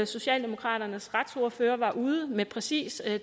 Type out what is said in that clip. socialdemokraternes retsordfører var ude med præcis